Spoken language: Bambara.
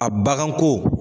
A baganko.